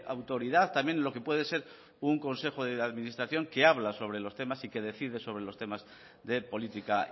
autoridad también lo que puede ser un consejo de administración que habla sobre los temas y que decide sobre los temas de política